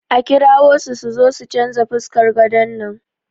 A kirawo su su change fuskar gadon nan.